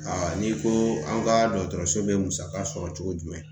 n'i ko an ka dɔgɔtɔrɔso bɛ musaka sɔrɔ cogo jumɛn